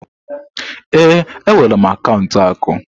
Ee, enwere m akaụntụ akụ.